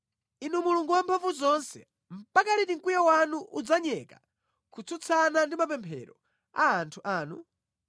Inu Mulungu Wamphamvuzonse, mpaka liti mkwiyo wanu udzanyeka kutsutsana ndi mapemphero a anthu anu?